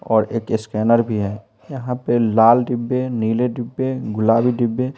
और एक स्कैनर भी है यहाँ पे लाल डिब्बे नीले डिब्बे गुलाबी डिब्बे--